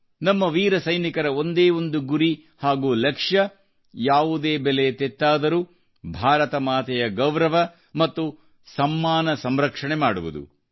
ನಮ್ಮ ವೀರ ಸೈನಿಕರ ಒಂದೇ ಒಂದು ಗುರಿ ಹಾಗೂ ಲಕ್ಷ್ಯ ಯಾವುದೇ ಬೆಲೆ ತೆತ್ತಾದರೂ ಭಾರತ ಮಾತೆಯ ಗೌರವ ಮತ್ತು ಸಮ್ಮಾನಸಂರಕ್ಷಣೆ ಮಾಡುವುದು